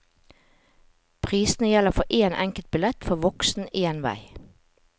Prisene gjelder for én enkeltbillett for voksen én vei.